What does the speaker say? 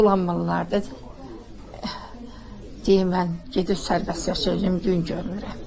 Zulanmalılardır deyir mən gedib sərbəst yaşayacam, gün görmürəm.